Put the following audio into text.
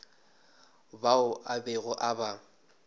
bao a bego a ba